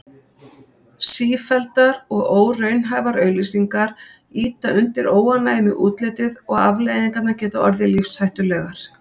Sífelldar og óraunhæfar auglýsingar ýta undir óánægju með útlitið og afleiðingarnar geta orðið lífshættulegar.